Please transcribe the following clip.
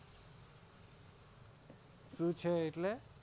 શૂ છે એટલે?